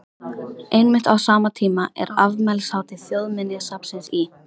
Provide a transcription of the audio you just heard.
Einmitt á sama tíma er afmælishátíð Þjóðminjasafnsins í